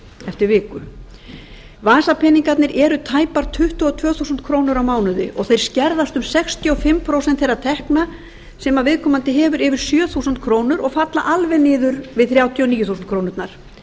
eftir viku vasapeningarnir eru tæpar tuttugu og tvö þúsund á mánuði og þeir skerðast um sextíu og fimm prósent þeirra tekna sem viðkomandi hefur yfir sjö þúsund krónur og falla alveg niður við þrjátíu og níu þúsund krónurnar